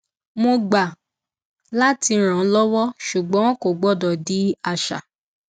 mo gbà láti rànlọwọ ṣùgbọn kò gbọdọ di àṣà